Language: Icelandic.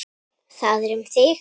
Það er um þig.